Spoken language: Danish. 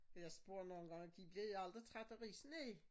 For jeg spurgte nogen gange de bliver i aldrig trætte af ris næ